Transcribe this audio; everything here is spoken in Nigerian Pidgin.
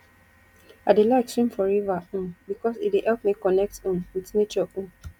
i dey like swim for river um because e dey help me connect um wit nature um